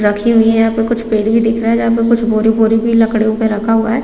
रखी हुई है यहाँ पे कुछ पेड़ भी दिख रहे है जहाँ पे कुछ बोरी-बोरी भी लकड़ियों पे रखा हुआ हैं ।